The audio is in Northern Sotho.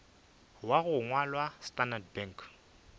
wa go ngwalwa standard bank